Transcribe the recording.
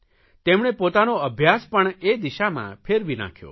તેમણે પોતાનો અભ્યાસ પણ એ દિશામાં ફેરવી નાંખ્યો